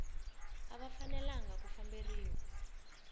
a va fanelanga ku famberiwa